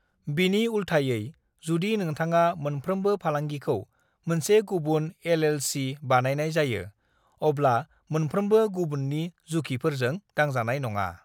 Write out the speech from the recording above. "बिनि उल्थायै, जुदि नोंथाङा मोनफ्रोमबो फालांगिखौ मोनसे गुबुन एल.एल.सी. बानायनाय जायो, अब्ला मोनफ्रोमबो गुबुननि जुखिफोरजों दांजानाय नङा।"